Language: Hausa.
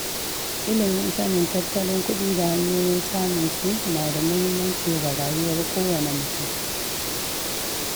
Ilimin sanin tattalin kuɗi da hanyoyin samun su na da muhimmanci ga rayuwar kowane mutum.